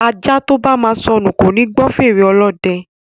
Ajá tóba máa sọnù koni gbọ́ fèrè Olódẹ